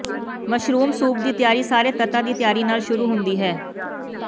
mushroom soup ਦੀ ਤਿਆਰੀ ਸਾਰੇ ਤੱਤਾਂ ਦੀ ਤਿਆਰੀ ਨਾਲ ਸ਼ੁਰੂ ਹੁੰਦੀ ਹੈ